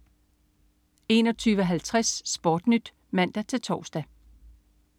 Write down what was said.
21.50 SportNyt (man-tors)